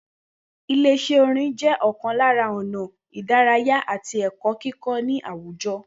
Ile Is̩é̩ orin jé̩ o̩kàn lára ò̩nà ìdárayá àti è̩kó̩ kíkó̩ ní àwùjo̩